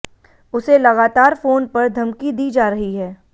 उसे लगातार फोन पर धमकी दी जा रही है